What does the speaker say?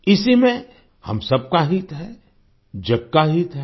इसी में हम सबका हित है जग का हित है